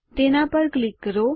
તેના પર ક્લિક કરો